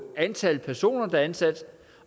antal personer der er ansat